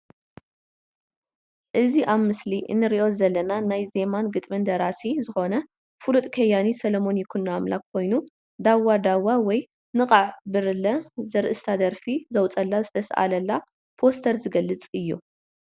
እዚ ኣብ ምስሊ እንሪኦ ዘለና ናይ ዜማን ግጥምን ደራሲ ዝኾነ ፍሉጥ ከያኒ ሰሎሞን ይኩኖ ኣምላክ ኮይኑ ዳዋ ዳዋ ወይ ንቓዕ ብርለ ዘርእስታ ደርፊ ዘወፅአላ ዝተስኣለላ ፖስተር ዝግልፅ እዩ።